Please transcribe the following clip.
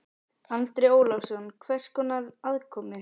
Andri Ólafsson: Hvers konar aðkomu?